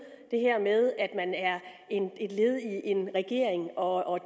det her med at man er et led i en regering og